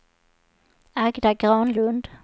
Agda Granlund